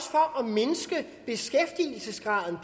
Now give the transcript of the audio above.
mindske beskæftigelsesgraden